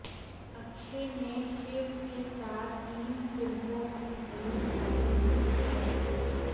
अक्षय ने शिव के साथ तीन फिल्मों की डील साइन की है